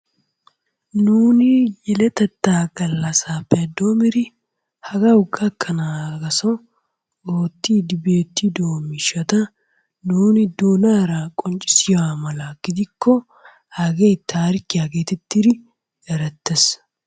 Nuuni yeletatta gallassappe doommidi hagaw gakkana gasso oottidi beettido miishshata nuuni doonaara qonccissiya mala gidikko hagee tarikkiya getettidi erettees.